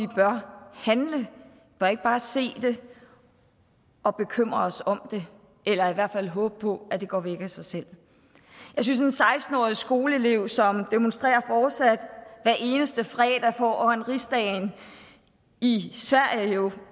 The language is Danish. bør ikke bare se det og bekymre os om det eller i hvert fald håbe på at det går væk af sig selv jeg synes at en seksten årig skoleelev som demonstrerer hver eneste fredag foran rigsdagen i sverige